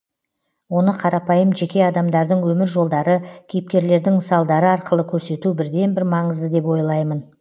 оны қарапайым жеке адамдардың өмір жолдары кейіпкерлердің мысалдары арқылы көрсету бірден бір маңызды деп ойлаймын